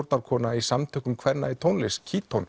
stjórnarkona í Samtökum kvenna í tónlist